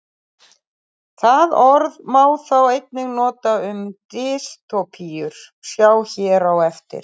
Það orð má þó einnig nota um dystópíur, sjá hér á eftir.